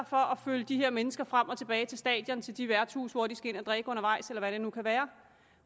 for at følge de her mennesker frem og tilbage til stadion og til de værtshuse hvor de skal ind at drikke undervejs eller hvad det nu kan være